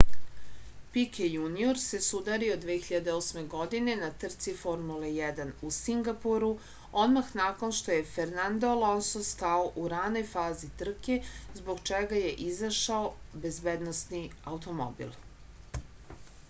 pike junior se sudario 2008. godine na trci formule 1 u singapuru odmah nakon što je fernadno alonso stao u ranoj fazi trke zbog čega je izašao bezbednosni automobil